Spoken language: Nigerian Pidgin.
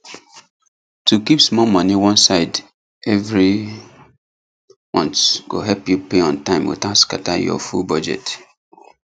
to keep small money one side every month go help you pay on time without scatter your full budget